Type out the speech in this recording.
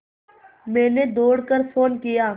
मैंने दौड़ कर फ़ोन किया